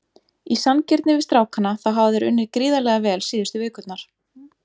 Í sanngirni við strákana þá hafa þeir unnið gríðarlega vel síðustu vikurnar.